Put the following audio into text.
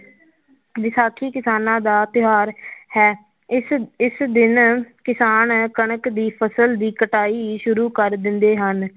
ਵਿਸਾਖੀ ਕਿਸਾਨਾਂ ਦਾ ਤਿਉਹਾਰਾ ਹੈ ਇਸ ਇਸ ਦਿਨ ਕਿਸਾਨ ਕਣਕ ਦੀ ਫਸਲ ਦੀ ਕਟਾਈ ਸ਼ੁਰੂ ਕਰ ਦਿੰਦੇ ਹਨ,